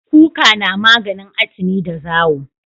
Kuka na maganin atini da zawo